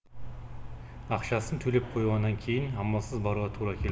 ақшасын төлеп қойғаннан кейін амалсыз баруға тура келді